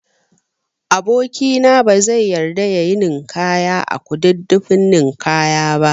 Aboki na bazai yarda yayi ninkaya a Kududdufin ninkaya ba